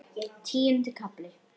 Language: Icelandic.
Tíundi kafli